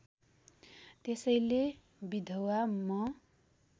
त्यसैले विधवा म